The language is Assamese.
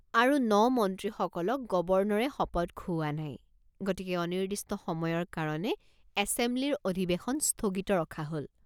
আৰু নমন্ত্ৰীসকলক গৱৰ্ণৰে শপত খুউৱা নাই গতিকে অনিৰ্দিষ্ট সময়ৰ কাৰণে এছেমব্লিৰ অধিবেশন স্থগিত ৰখা হল।